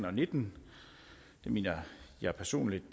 og nitten det mener jeg personligt